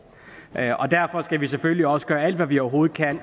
er kritisabelt derfor skal vi selvfølgelig også gøre alt hvad vi overhovedet kan